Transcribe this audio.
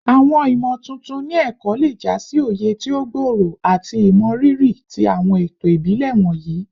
Awọn imotuntun ni ẹkọ le ja si oye ti o gbooro ati imọriri ti awọn eto ibile wọnyi